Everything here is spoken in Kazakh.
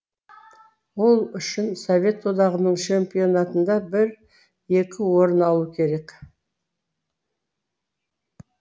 ол үшін совет одағының чемпионатында бір екі орын алу керек